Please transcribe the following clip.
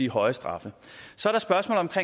høje straffe så